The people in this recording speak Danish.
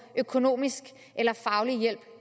økonomisk eller faglig hjælp